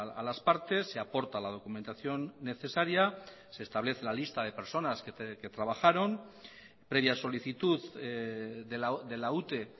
a las partes se aporta la documentación necesaria se establece la lista de personas que trabajaron previa solicitud de la ute